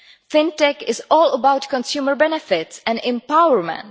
FinTech is all about consumer benefits and empowerment.